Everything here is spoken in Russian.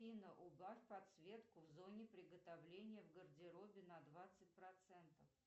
афина угась подсветку в зоне приготовления в гардеробе на двадцать процентов